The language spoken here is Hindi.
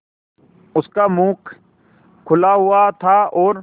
उसका मुख खुला हुआ था और